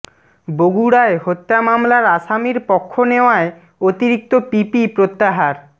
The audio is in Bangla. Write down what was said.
বগুড়ায় হত্যা মামলার আসামির পক্ষ নেওয়ায় অতিরিক্ত পিপি প্রত্যাহার